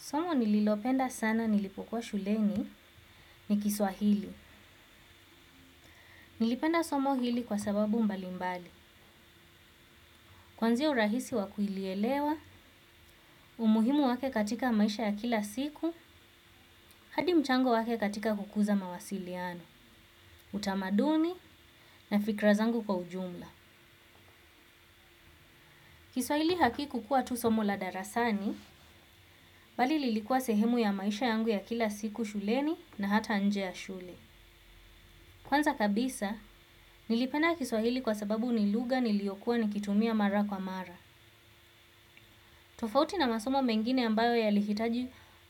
Somo nililopenda sana nilipokuwa shuleni ni kiswahili. Nilipenda somo hili kwa sababu mbalimbali. Kwanzia urahisi wa kulielewa, umuhimu wake katika maisha ya kila siku, hadi mchango wake katika kukuza mawasiliano, utamaduni na fikra zangu kwa ujumla. Kiswahili hakikukuwa tu somo la darasani, bali lilikuwa sehemu ya maisha yangu ya kila siku shuleni na hata nje ya shule. Kwanza kabisa, nilipenda kiswahili kwa sababu ni lugha niliyokuwa nikitumia mara kwa mara. Tofauti na masomo mengine ambayo yalihitaji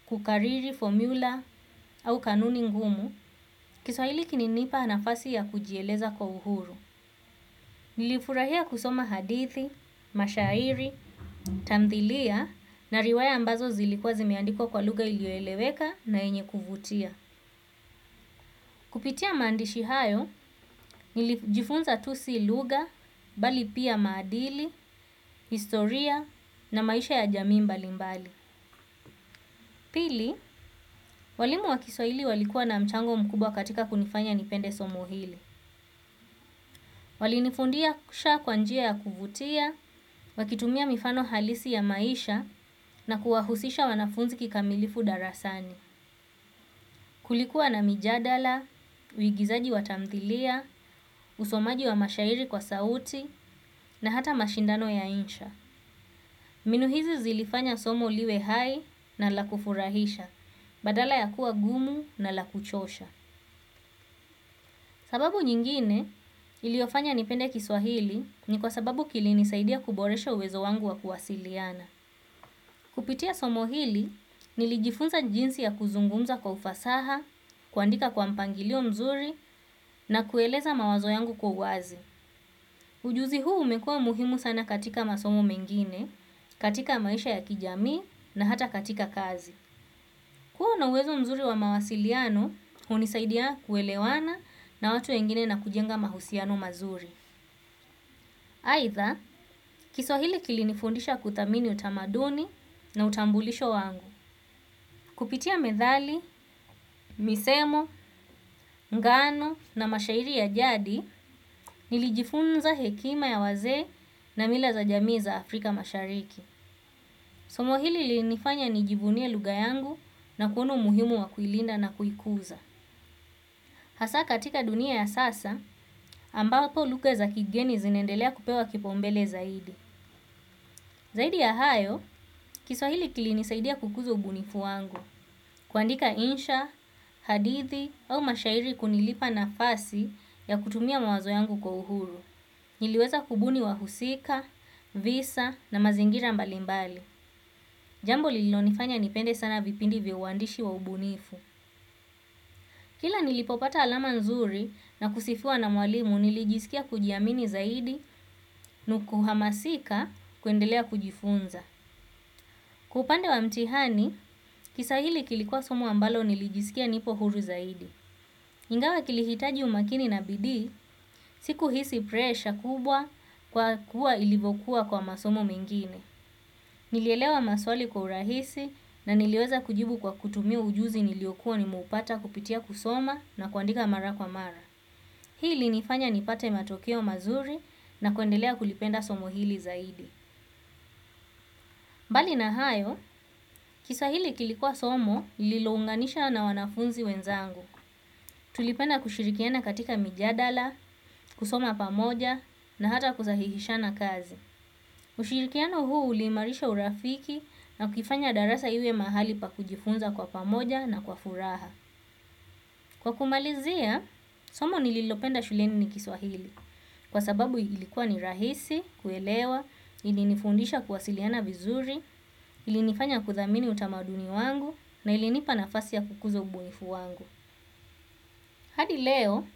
kukariri, formula, au kanuni ngumu, kiswahili kilinipa nafasi ya kujieleza kwa uhuru. Nilifurahia kusoma hadithi, mashairi, tamthilia, na riwaya ambazo zilikuwa zimeandikwa kwa lugha ilioeleweka na yenye kuvutia. Kupitia maandishi hayo nilijifunza tu si lugha, bali pia maadili, historia na maisha ya jamii mbalimbali. Pili, walimu wa kiswahili walikuwa na mchango mkubwa katika kunifanya nipende somo hili. Walinifundisha kwa njia ya kuvutia, wakitumia mifano halisi ya maisha na kuwahusisha wanafunzi kikamilifu darasani. Kulikuwa na mijadala, uigizaji wa tamthilia, usomaji wa mashairi kwa sauti na hata mashindano ya insha. Mbinu hizi zilifanya somo liwe hai na la kufurahisha, badala ya kuwa gumu na la kuchosha. Sababu nyingine iliofanya nipende kiswahili ni kwa sababu kilinisaidia kuboresha uwezo wangu wa kuwasiliana. Kupitia somo hili, nilijifunza jinsi ya kuzungumza kwa ufasaha, kuandika kwa mpangilio mzuri na kueleza mawazo yangu kwa uwazi. Ujuzi huu umekuwa muhimu sana katika masomo mengine katika maisha ya kijamii na hata katika kazi huu una uwezo mzuri wa mawasiliano, hunisaidia kuelewana na watu wengine na kujenga mahusiano mazuri. Aidha, kiswahili kilinifundisha kuthamini utamaduni na utambulisho wangu. Kupitia methali misomo ngano na mashairi ya jadi nilijifunza hekima ya wazee na mila za jamii za afrika mashariki. Somo hili lilinifanya nijivunie lugha yangu na kuona umuhimu wa kuilinda na kuikuza. Hasa katika dunia ya sasa, ambapo lugha za kigeni zinaendelea kupewa kipaumbele zaidi. Zaidi ya hayo, kiswahili kilinisaidia kukuza ubunifu wangu, kuandika insha, hadithi au mashairi kulinipa nafasi ya kutumia mawazo yangu kwa uhuru. Niliweza kubuni wahusika, visa na mazingira mbalimbali. Jambo lililonifanya nipende sana vipindi vya uandishi wa ubunifu. Kila nilipopata alama nzuri na kusifiwa na mwalimu nilijisikia kujiamini zaidi na kuhamasika kuendelea kujifunza. Kwa upande wa mtihani, kiswahili kilikuwa somo ambalo nilijisikia nipo huru zaidi. Ingawa kilihitaji umakini na bidii, sikuhisi presha kubwa kwa kuwa ilivokuwa kwa masomo mengine. Nilielewa maswali kwa urahisi na niliweza kujibu kwa kutumia ujuzi niliokuwa nimeupata kupitia kusoma na kuandika mara kwa mara. Hii ilinifanya nipate matokeo mazuri na kuendelea kulipenda somo hili zaidi. Mbali na hayo, kiswahili kilikuwa somo lilounganisha na wanafunzi wenzangu. Tulipenda kushirikiana katika mijadala, kusoma pamoja, na hata kusahihishana kazi. Ushirikiano huu uliimarisha urafiki na kuifanya darasa iwe mahali pa kujifunza kwa pamoja na kwa furaha. Kwa kumalizia, somo nililopenda shuleni ni kiswahili, kwa sababu ilikuwa ni rahisi, kuelewa, ilinifundisha kuwasiliana vizuri, ilinifanya kuthamini utamaduni wangu, na ilinipa nafasi ya kukuza ubunifu wangu. Hadi leo,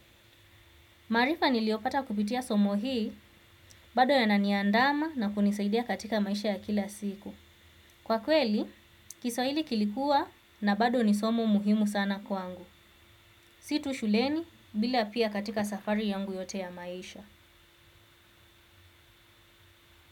maarifa niliopata kupitia somo hii, bado yananiandama na kunisaidia katika maisha ya kila siku. Kwa kweli kiswahili kilikuwa na bado ni somo muhimu sana kwangu. Si tu shuleni bila pia katika safari yangu yote ya maisha.